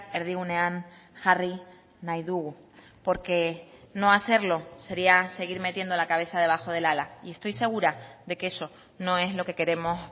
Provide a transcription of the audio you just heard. erdigunean jarri nahi dugu porque no hacerlo sería seguir metiendo la cabeza debajo del ala y estoy segura de que eso no es lo que queremos